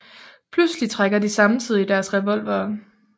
Pludselig trækker de samtidig deres revolvere